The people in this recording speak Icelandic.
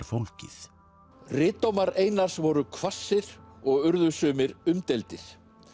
fólgið ritdómar Einars voru hvassir og urðu sumir umdeildir